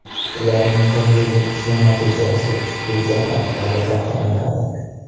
Ularning bir yillik ishi natijasi ushbu jang orqali baholanadi.